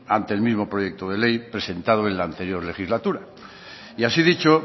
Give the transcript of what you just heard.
ante el mismo proyecto de ley presentado en la anterior legislatura y así dicho